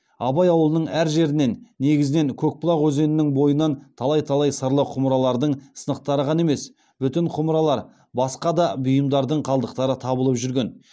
абай ауылының әр жерінен негізінен көкбұлақ өзенінің бойынан талай талай сырлы құмыралардың сынықтары ғана емес бүтін құмыралар басқа да бұйымдардың қалдықтары табылып жүрген